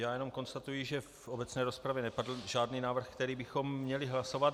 Já jenom konstatuji, že v obecné rozpravě nepadl žádný návrh, který bychom měli hlasovat.